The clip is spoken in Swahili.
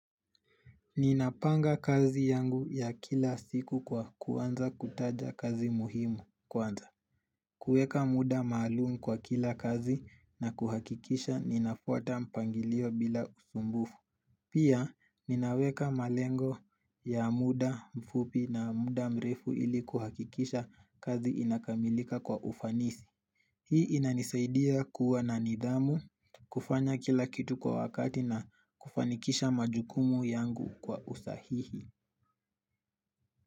Ninapanga kazi yangu ya kila siku kwa kuanza kutaja kazi muhimu kwanza kueka muda maalum kwa kila kazi na kuhakikisha ninafuata mpangilio bila usumbufu Pia ninaweka malengo ya muda mfupi na muda mrefu ili kuhakikisha kazi inakamilika kwa ufanisi Hii inanisaidia kuwa na nidhamu kufanya kila kitu kwa wakati na kufanikisha majukumu yangu kwa usahihi.